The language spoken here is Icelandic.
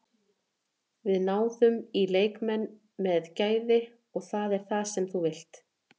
Við náðum í leikmenn með gæði og það er það sem þú vilt.